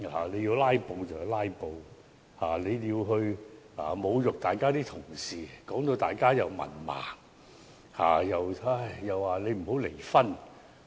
你要"拉布"便"拉布"，但你侮辱同事，指他們是文盲和不應離婚。